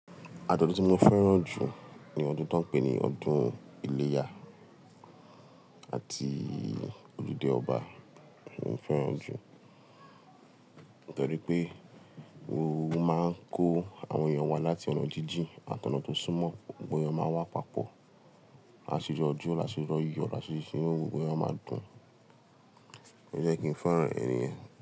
Àjò ọdún tí mo fẹ́ràn jù ni ọdún ta ń pè ní ọdún iléyá àti ojùdé ọba ni mo fẹ́ràn jù. Nítorí pé gbogbo won máa ń kó àwọn èyàn wa láti ọ̀nà jíjìn àtó ọ̀nà tó súnmọ́, gbogbo èyàn máa wá papọ̀. Àṣírí ọdún, àṣírí oyè, àṣírí iṣẹ́, gbogbo ẹyọ máa dùn. Ó jẹ́ kí n fẹ́ràn ènìyàn.